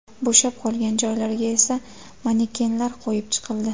Bo‘shab qolgan joylarga esa manekenlar qo‘yib chiqildi.